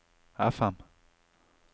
FM